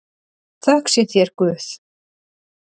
Þökk sé þér Guð.